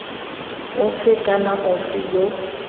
ofe kana ofe yo o